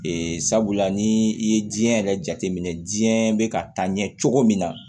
sabula ni i ye diɲɛ yɛrɛ jate minɛ diɲɛ bɛ ka taa ɲɛ cogo min na